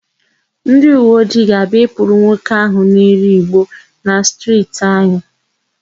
Ndịuweojii ga-abịa ịkpụrụ nwoke áhụ̀ na-ere ìgbó na stirti anyị.